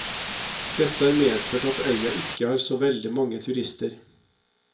Dette har medført at øya ikke har så veldig mange turister.